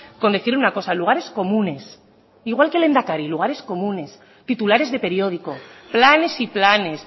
con decir una cosa lugares comunes igual que lehendakari lugares comunes titulares de periódico planes y planes